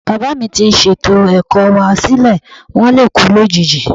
Bàbáà mi ti ṣètò ẹ̀kọ́ wá sílẹ̀. Wón lè kú lójijì.